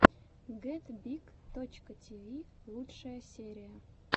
гетбиг точка тиви лучшая серия